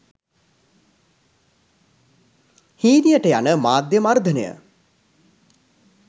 හීනියට යන මාධ්‍ය මර්ධනය